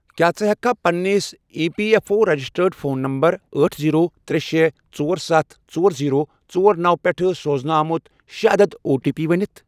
کیٛاہ ژٕ ہیٚککھا پننِس E P F O registered phone number أٹھ، زیٖرو، ترے، شے، ژۄر، ستھ، ژور، زیٖرو، ژۄر، نوَ، پٮ۪ٹھ سوزنہٕ آمُت شیٚے عدد او ٹی پی ؤنِتھ؟